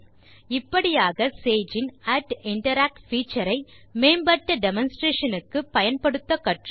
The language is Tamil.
இப்படியாக சேஜ் இன் interact பீச்சர் ஐ மேம்பட்ட டெமான்ஸ்ட்ரேஷன் க்கு பயன்படுத்த கற்றோம்